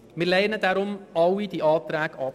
Deshalb lehnen wir alle Anträge ab.